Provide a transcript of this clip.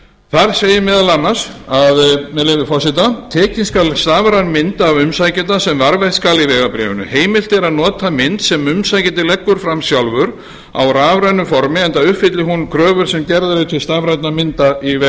þar segir meðal annars með leyfi forseta tekin skal stafræn mynd af umsækjanda sem varðveitt skal í vegabréfinu heimilt er að nota mynd sem umsækjandi leggur fram sjálfur á rafrænu formi enda uppfylli hún kröfur sem gerðar eru til stafrænna mynda í